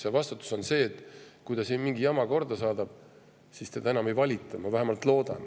See vastutus selles, et kui ta siin mingi jama korda saadab, siis teda enam ei valita, ma vähemalt loodan.